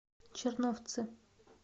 черновцы